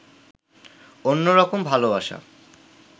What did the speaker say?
অন্যরকম ভালোবাসা